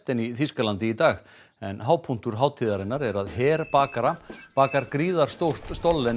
í Þýskalandi í dag en hápunktur hátíðarinnar er að her bakara bakar gríðarstórt